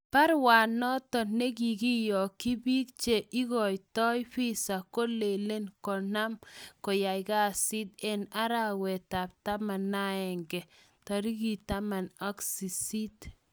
Baruanoton negikiyogi pig che ikoito visa kolelen konam koyai kasit En arawetap taman ag aenge 18.